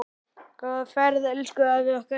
Góða ferð elsku afi okkar.